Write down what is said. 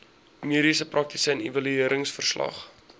mediese praktisyn evalueringsverslag